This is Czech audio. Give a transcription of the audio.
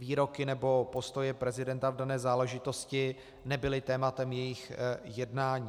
Výroky nebo postoje prezidenta v dané záležitosti nebyly tématem jejich jednání.